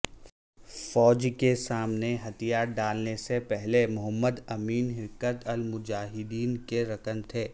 فوج کے سامنے ہتھیار ڈالنے سے پہلے محمد امین حرکت المجاہدین کے رکن تھے